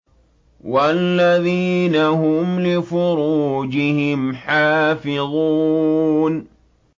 وَالَّذِينَ هُمْ لِفُرُوجِهِمْ حَافِظُونَ